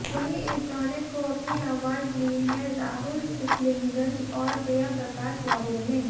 वहीं इस गाने को अपनी आवाज दी है राहुल सिपलिगंज और प्रिया प्रकाश वारियर ने